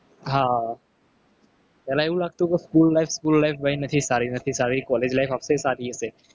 હા પહેલા એવું લાગતું કે school life school life કંઈ નથી યાર સારી નથી. college life આપણે આનાથી સારી હશે.